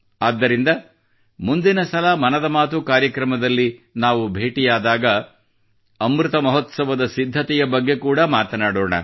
ಆದ್ದರಿಂದ ಮುಂದಿನ ಸಲ ಮನದ ಮಾತು ಕಾರ್ಯಕ್ರಮದಲ್ಲಿ ನಾವು ಭೇಟಿಯಾದಾಗ ಅಮೃತ ಮಹೋತ್ಸವದ ಸಿದ್ಧತೆಯ ಬಗ್ಗೆ ಕೂಡಾ ಮಾತನಾಡೋಣ